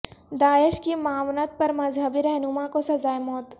داعش کی معاونت پر مذہبی رہنما کو سزائے موت